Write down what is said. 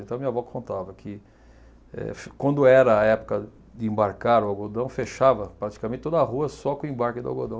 Então, a minha avó contava que eh, quando era a época de embarcar o algodão, fechava praticamente toda a rua só com o embarque do algodão.